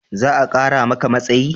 Za a kara maka matsayi?